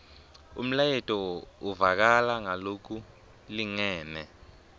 umlayeto uvakala ngalokulingene